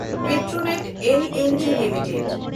Petronet LNG limited